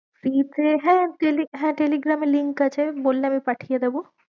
হ্যাঁ হ্যাঁ টেলিগ্রামের link আছে, বললে আমি পাঠিয়ে দেবো